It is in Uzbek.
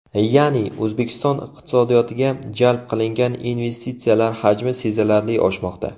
Ya’ni, O‘zbekiston iqtisodiyotiga jalb qilingan investitsiyalar hajmi sezilarli oshmoqda.